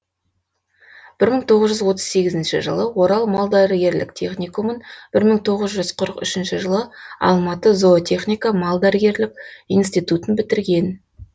бір мың тоғыз жүз отыз сегізінші жылы орал мал дәрігерлік техникумын бір мың тоғыз жүз қырық үшінші жылы алматы зоотехника малдәрігерлік институттын бітірген